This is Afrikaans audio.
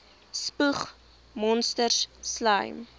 spoeg monsters slym